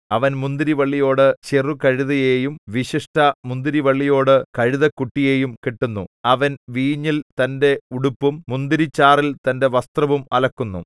അവൻ മുന്തിരിവള്ളിയോടു ചെറുകഴുതയെയും വിശിഷ്ടമുന്തിരിവള്ളിയോടു കഴുതക്കുട്ടിയെയും കെട്ടുന്നു അവൻ വീഞ്ഞിൽ തന്റെ ഉടുപ്പും മുന്തിരിച്ചാറിൽ തന്റെ വസ്ത്രവും അലക്കുന്നു